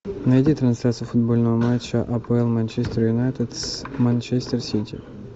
найди трансляцию футбольного матча апл манчестер юнайтед с манчестер сити